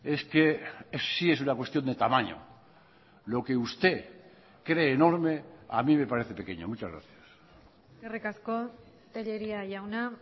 es que sí es una cuestión de tamaño lo que usted cree enorme a mí me parece pequeño muchas gracias eskerrik asko tellería jauna